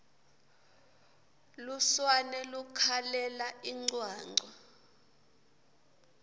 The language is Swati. lusurane lukhalela incwancwa